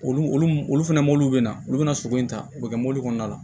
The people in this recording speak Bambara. Olu olu olu olu fɛnɛ bɛna olu bɛna sogo in ta u bɛ kɛ mobili kɔnɔna la